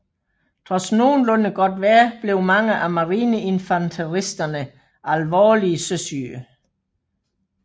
Trods nogenlunde godt vejr blev mange af marineinfanteristerne alvorligt søsyge